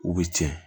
U bɛ tiɲɛ